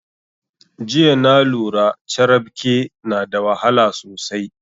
Jiya na lura carabke na da wahala sosai